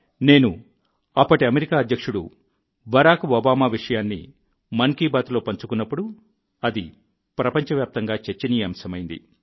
నేను అప్పటి అమెరికా అధ్యక్షుడు బరాక్ ఒబామా విషయాన్ని మన్ కీ బాత్లో పంచుకున్నప్పుడు అది ప్రపంచవ్యాప్తంగా చర్చనీయాంశమైంది